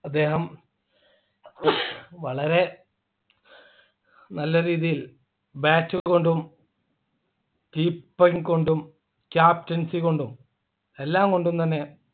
അദ്ദേഹം വളരെ നല്ല രീതിയിൽ bat കൊണ്ടും keeping കൊണ്ടും captaincy കൊണ്ടും എല്ലാം കൊണ്ടും തന്നെ